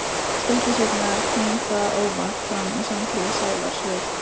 Stuttu seinna kom það óvart fram í samtali Sævars við